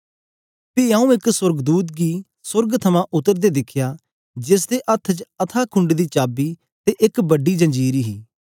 पी आऊँ एक सोर्गदूत गी सोर्ग थमां उतरदे दिखया जेसदे हत्थ च अथाह कुंड दी चाबी ते एक बड़ी जंजीर हे